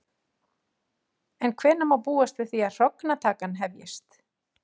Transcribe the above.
En hvenær má búast við því að hrognatakan hefjist?